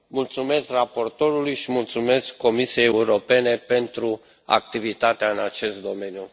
Îi mulțumesc raportorului și mulțumesc Comisiei Europene pentru activitatea în acest domeniu.